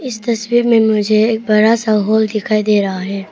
इस तस्वीर में मुझे एक बड़ा सा हॉल दिखाई दे रहा है।